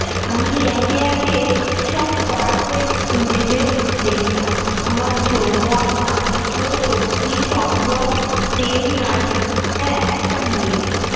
আমি একে একে সব পার হয়ে যেতে দেখলাম আমার যৌবন আদর্শ শক্তি সম্ভ্রম প্রেম নারী হ্যাঁ একটা মেয়ে।